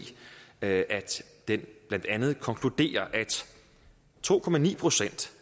at den blandt andet konkluderer at to procent